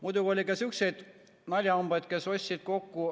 Muidugi oli ka sihukesi naljahambaid, kes ostsid arvuteid kokku.